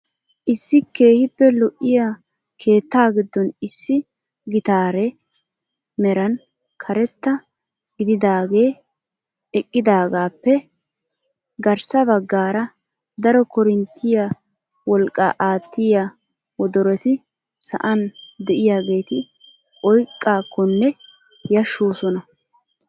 Issi keehippe lo'iyaa keettaa giddon issi gitaaree meran karetta gididaagee eqqidagaappe garssa baggaara daro korinttiyaa wolqqaa aattiyaa wodoroti sa'an de'iyaageti oyqqakonne yashshosona!